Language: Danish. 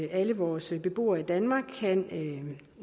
alle vores beboere i danmark kan